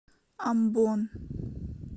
амбон